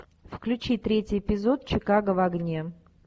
включи третий эпизод чикаго в огне